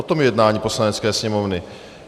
O tom je jednání Poslanecké sněmovny.